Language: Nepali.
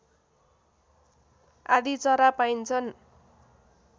आदि चरा पाइन्छन्